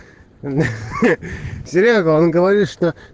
ха-ха серёга он говорит что